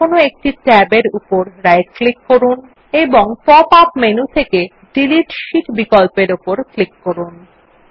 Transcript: এবার যেকোনো একটি ট্যাব এর উপর রাইট ক্লিক করুন এবং পপ আপ মেনু থেকে ডিলিট শীট বিকল্প উপর ক্লিক করুন